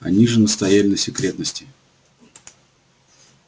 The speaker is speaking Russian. они же настояли на секретности